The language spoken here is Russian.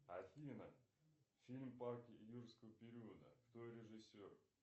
афина фильм парк юрского периода кто режиссер